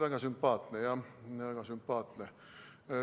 Väga sümpaatne, jah, väga sümpaatne.